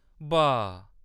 बाऽऽऽ !